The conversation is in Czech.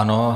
Ano.